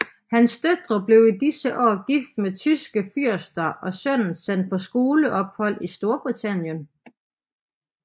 Hans døtre blev i disse år gift med tyske fyrster og sønnen sendt på skoleophold i Storbritannien